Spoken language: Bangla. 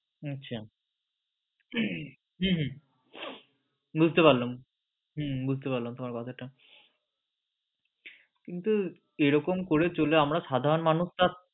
আচ্ছা হম হম হম বুজতে পারলাম তোমার কথাটা কিন্তু এরকম করে চললে আমরা সাধারণ মানুষরা